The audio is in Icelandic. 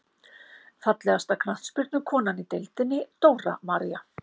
Fallegasta knattspyrnukonan í deildinni: Dóra María.